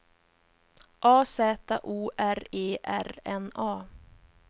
A Z O R E R N A